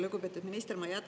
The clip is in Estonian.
Lugupeetud minister!